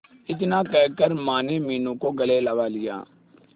इतना कहकर माने मीनू को गले लगा लिया